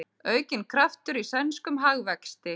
Aukinn kraftur í sænskum hagvexti